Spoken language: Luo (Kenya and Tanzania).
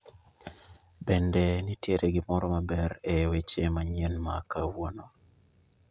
Bende nitiere gimoro maber e hweche manyien ma kawuono